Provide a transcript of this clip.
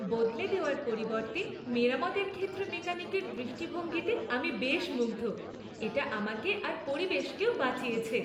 বদলে দেওয়ার পরিবর্তে মেরামতের ক্ষেত্রে মেকানিকের দৃষ্টিভঙ্গিতে আমি বেশ মুগ্ধ। এটা আমাকে আর পরিবেশকেও বাঁচিয়েছে।